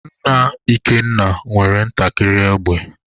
Nna Ikenna nwere ntakịrị égbè